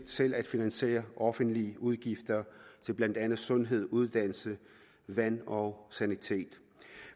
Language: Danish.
selv at finansiere offentlige udgifter til blandt andet sundhed uddannelse vand og sanitet